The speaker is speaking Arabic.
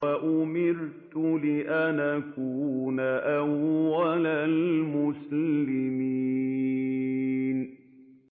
وَأُمِرْتُ لِأَنْ أَكُونَ أَوَّلَ الْمُسْلِمِينَ